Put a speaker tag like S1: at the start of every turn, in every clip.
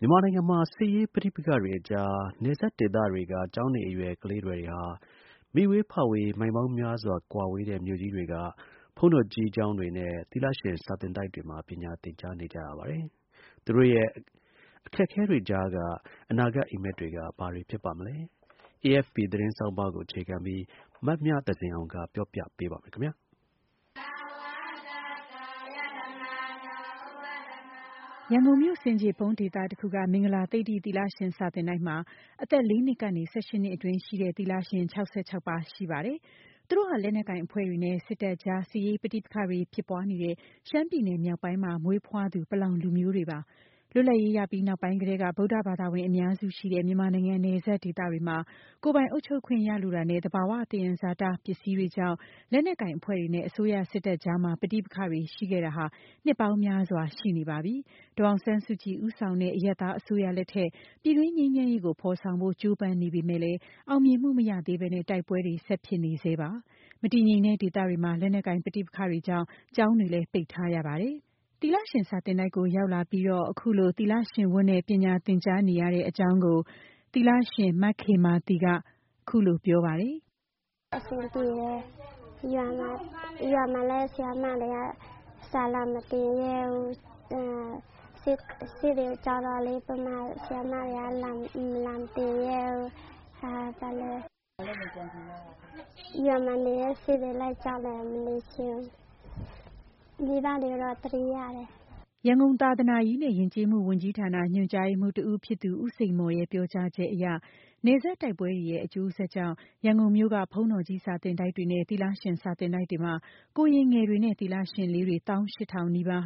S1: မြန်မာနိုင်ငံမှာ စစ်ရေးပဋိပက္ခတွေကြား နယ်စပ်ဒေသတွေက ကျောင်းနေအရွယ် ကလေးငယ်တွေဟာ မိဝေး၊ ဖဝေး မိုင်ပေါင်းများစွာ ကွာဝေးတဲ့ မြို့ကြီးတွေက ဘုန်းတော်ကြီး စာသင်တိုက်တွေနဲ့ သီလရှင်စာသင်တိုက်တွေမှာ ပညာသင်ကြားနေကြရပါတယ်။ သူတို့ရဲ့ အခက်အခဲတွေကြားက အနာဂတ် အိပ်မက်တွေက ဘာတွေဖြစ်ပါမလဲ။ AFP သတင်းဆောင်းပါးကို အခြေခံပြီး မမြသဇင်အောင်က ပြောပြပေးပါမယ်။ ရန်ကုန်မြို့ ဆင်ခြေဖုံး ဒေသတခုက မင်္ဂလာ သိဒ္ဓိ သီလရှင် စာသင်တိုက်မှာ အသက် ၄ နှစ်ကနေ ၁၈ နှစ်အတွင်းရှိတဲ့ သီလရှင် ၆၆ ပါးရှိပါတယ်။ သူတို့ဟာ လက်နက်ကိုင် အဖွဲ့တွေနဲ့ စစ်တပ်ကြား စစ်ရေး ပဋိပက္ခတွေဖြစ်ပွားနေတဲ့ ရှမ်းပြည်နယ် မြောက်ပိုင်းမှာ မွေးဖွားသူ ပလောင်လူမျိုး တွေပါ။ လွတ်လပ်ရေးရပြီး နောက်ပိုင်းကတတည်းက ဗုဒ္ဓဘာသာဝင် အများစုရှိတဲ့ မြန်မာနိုင်ငံ နယ်စပ် ဒေသတွေမှာ ကိုယ်ပိုင်အုပ်ချုပ်ခွင့်ရလိုတာနဲ့ သဘာ၀ သယံဇာတ ပစ္စည်းတွေကြောင့် လက်နက်ကိုင် အဖွဲ့တွေနဲ့ အစိုးရစစ်တပ်ကြား ပဋိပက္ခတွေရှိခဲ့တာ နှစ်ပေါင်းများစွာ ရှိနေပါပြီ။ ဒေါ်အောင်ဆန်းစုကြည် ဦးဆောင်တဲ့ အရပ်သား အစိုးရလက်ထက် ပြည်တွင်းငြိမ်းချမ်းရေး ဖော်ဆောင်ဖို့ကြိုးပမ်းနေပေမဲ့လည်း အောင်မြင်မှု မရသေးပဲ တိုက်ပွဲတွေ ဆက်ဖြစ်နေဆဲပါ။ မတည်ငြိမ်တဲ့ ဒေသတွေမှာ လက်နက်ကိုင် ပဋိပက္ခတွေကြောင့် ကျောင်းတွေလည်း ပိတ်ထားရတာပါ။ သီလရှင်စာသင်တိုက်ကို ရောက်လာပြီး ပညာသင်ရတဲ့ အကြောင်းကို အသက် ၁၇နှစ်အရွယ် သီလရှင်လေး မခေမာသီက အခုလိုပြောပါတယ်
S2: ။ “အဆင်ပြေတယ် ။ ရွာမှာလည်း ဆရာမတွေက စာလာမသင်ရဲဘူး။ စစ်ကို ကြောက်တော့ မြန်မာဆရာမတွေက လာမသင်ရဲဘူး ။ ရွာမှာနေရင် စစ်ကိုကြောက်ရတယ် မနေချင်ဘူး။ မိဘတွေကိုတော့ သတိရတယ်။”
S1: ရန်ကုန် သာသနာရေးနဲ့ ယဉ်ကျေးမှု ဝန်ကြီးဌာန ညွှန်ကြားရေးမှုး တဦးဖြစ်သူ ဦးစိန်မော်ရဲ့ ပြောကြားချက် အရ နယ်စပ် တိုက်ပွဲတွေရဲ့ အကျိုးဆက် ကြောင့် ရန်ကုန်မြို့က ဘုန်းတော်ကြီး စာသင်တိုက်တွေနဲ့ သီလရှင်စာသင်တိုက်တွေမှာ ကိုရင်ငယ်တွေနဲ့ သီလရှင်လေးတွေ ၁၈၀၀၀ နီးပါး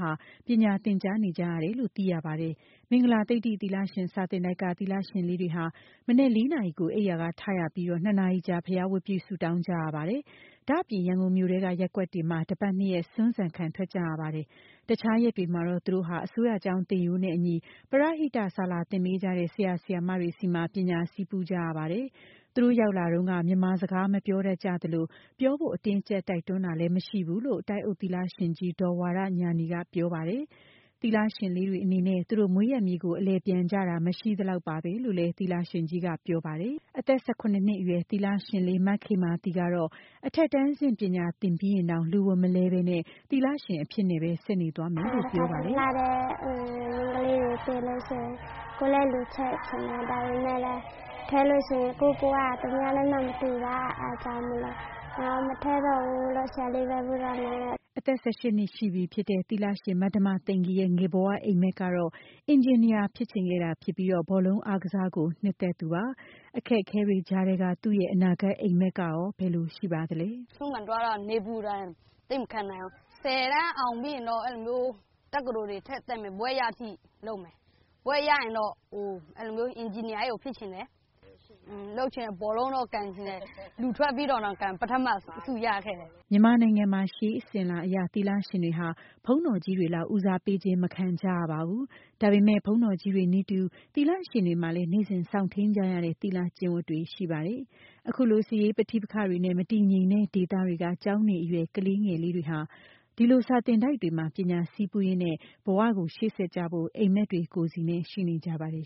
S1: ပညာသင်နေကြရတယ်လို့ သိရပါတယ်။ မင်္ဂလာ သိဒ္ဓိ သီလရှင် စာသင်တိုက်က သီလရှင်လေးတွေ ဟာ မနက် ၄ နာရီ အိပ်ယာထရပြီး ၂ နာရီကြာ ဘုရားဝတ်ပြု ဆုတောင်း ကြရပါတယ်။ ဒါ့အပြင် ရန်ကုန်မြို့ ထဲ ရပ်ကွက်တွေမှာ တပတ် ၂ ရက် ဆွမ်းဆန်ခံထွက်ကြရပါတယ်။ တခြားရက်တွေမှာတော့ သူတို့ဟာ အစိုးရကျောင်း သင်ရိုးနဲ့ အညီ ပရဟိတ စာလာသင်ပေးကြတဲ့ ဆရာ၊ ဆရာမတွေဆီမှာ ပညာဆည်းပူးကြရပါတယ်။ သူတို့ရောက်လာတုန်းက မြန်မာစကား မပြောတတ်ကြသလို ပြောဖို့အတင်းအကြပ် တိုက်တွန်းတာလည်း မရှိဘူးလို့ တိုက်အုပ် သီလရှင်ကြီး ဒေါ်ဝါရညာဏီ ကပြောပါတယ်။ သီလရှင်လေးတွေအနေနဲ့ သူတို့ မွေးရပ်မြေကို အလည် ပြန်ကြတာ လည်း မရှိသလောက်ပါပဲလို့ လည်းသီလရှင်ကြီးက ပြောပါတယ်။ အသက် ၁၇ နှစ်အရွယ် သီလရှင်လေး ခေမာသီကတော့ အထက်တန်းဆင့်ထိ ပညာသင်ပြီးရင်တောင် လူဝတ်မလဲပဲ သီလရှင်အဖြစ်နဲ့ ဆက်နေသွားမယ်လို့ ပြောပါတယ်။ “လှတဲ့ မ
S2: ိန်းကလေးတွေကို တွေ့ရင် ကိုယ်လည်းလူထွက်ချင်တယ်။ ဒါပေမယ့် ထွက်ရင် ကိုယ့်ဘဝက သူများနဲ့မှမတူတာ ၊ အဲဒါကြောင့်မို့လို့ မထွက်တော့ဘူးလို့ ဆရာလေးလိုပဲ နေတော့မယ်လို့
S1: ။” အသက် ၁၈ နှစ်ရှိပြီဖြစ်တဲ့ သီလရှင် မဓမ္မသိဂီ ၤရဲ့ ငယ်ဘဝအိမ်မက်ကတော့ အင်ဂျင်နီယာဖြစ်ချင်ခဲ့ပြီး ဘောလုံး အားကစားကို နှစ်သက်သူပါ။ အခက်အခဲတွေကြားက သူ့အနာဂတ်အိမ်မက်ကရော ဘယ်လိုပါလဲ။
S2: “ဆွမ်းခံသွားတာ နေပူဒဏ် သိပ်မခံနိုင်ဘူး။ ၁၀ တန်းအောင်ပြီးရင်တော့ တက္ကသိုလ်တွေ ထပ်တက်မယ်။ ဘွဲ့ရတဲ့အထိ လုပ်မယ်။ ဘွဲ့ရရင်တော့ အင်ဂျင်နီယာကြီးကို ဖြစ်ချင်တယ်။ ဘောလုံးလည်း ကန်ချင်တယ် လူထွက်ပြီးတော့ ကန်တာ ဘောလုံး ပထမဆု ရခဲ့တယ်။
S1: ” မြန်မာနိုင်ငံမှာ ရှေးအစဉ်အလာအရ သီလရှင်တွေဟာ ဘုန်းတော်ကြီးတွေလောက် ဦးစားပေးခြင်းမခံကြရပါဘူး။ ဒါပေမဲ့ ဘုန်းတော်ကြီးတွေနည်းတူ သီလရှင်တွေမှာလည်း နေ့စဉ် စောင့်ထိန်းကြရတဲ့ သီလ၊ ကျင့်ဝတ်တွေ ရှိပါတယ်။ အခုလို စစ်ရေး ပဋိပက္ခတွေနဲ့ မတည်ငြိမ်တဲ့ ဒေသတွေကကျောင်းနေအရွယ် ကလေးငယ်တွေဟာ အခုလို စာသင်တိုက်တွေမှာ ပညာဆည်းပူးရင်း ဘဝကိုရှေ့ဆက်ကြဖို့ အိမ်မက်တွေကိုယ်စီနဲ့ ရှိနေကြပါတယ်